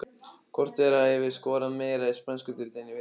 Hvor þeirra hefur skorað meira í spænsku deildinni í vetur?